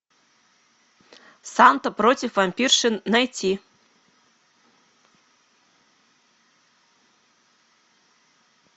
санта против вампирши найти